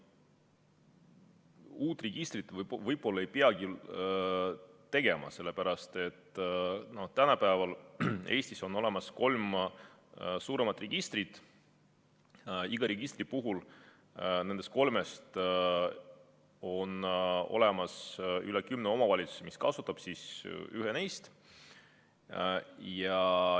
Uut registrit võib-olla ei peagi tegema, sellepärast et tänapäeval on Eestis olemas kolm suuremat registrit, igaüht neist kasutab üle kümne omavalitsuse.